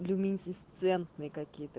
люминесцентные какие то